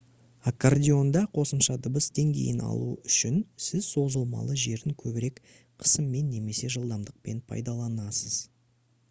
аккордеонда қосымша дыбыс деңгейін алу үшін сіз созылмалы жерін көбірек қысыммен немесе жылдамдықпен пайдаланасыз